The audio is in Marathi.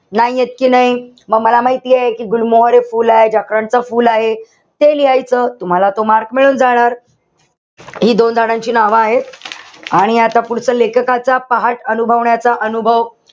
नाही येत कि नाई? म मला माहितीये कि गुलमोहर हे फुल आहे. जॅकरोटच फुल आहे. ते लिहायचं. तुम्हाला तो mark मिळून जाणार. हि दोन झाडांची नावं आहेत. आणि आता पुढचं लेखकाचा पहाट अनुभवण्याचा अनुभव.